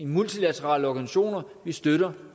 multilaterale organisationer vi støtter